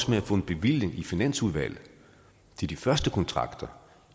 med at få en bevilling i finansudvalget til de første kontrakter